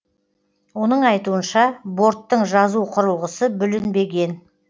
оның айтуынша борттың жазу құрылғысы бүлінбеген